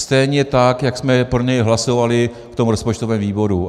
Stejně tak, jak jsme pro něj hlasovali v tom rozpočtovém výboru.